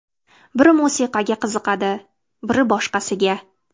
Bir musiqaga qiziqadi, bir boshqasiga.